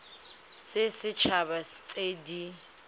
tsa set haba tse di